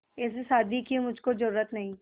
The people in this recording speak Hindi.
ऐसी शादी की मुझको जरूरत नहीं